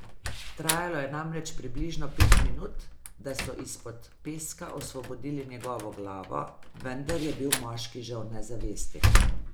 Trajalo je namreč približno pet minut, da so izpod peska osvobodili njegovo glavo, vendar je bil moški že v nezavesti.